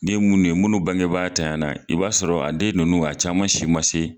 N'i ye minnu ye munu bangebaga tananya la , i b'a sɔrɔ a den ninnu , a caman si ma se.